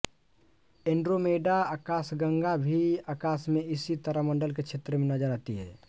Andromeda आकाशगंगा भी आकाश में इसी तारामंडल के क्षेत्र में नज़र आती है